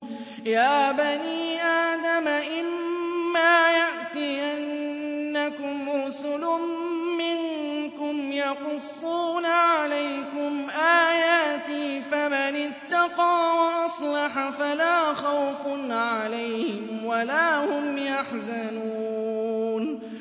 يَا بَنِي آدَمَ إِمَّا يَأْتِيَنَّكُمْ رُسُلٌ مِّنكُمْ يَقُصُّونَ عَلَيْكُمْ آيَاتِي ۙ فَمَنِ اتَّقَىٰ وَأَصْلَحَ فَلَا خَوْفٌ عَلَيْهِمْ وَلَا هُمْ يَحْزَنُونَ